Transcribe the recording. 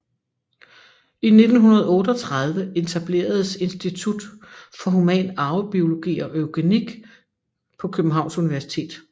I 1938 etableredes institut for human arvebiologi og eugenik på Københavns Universitet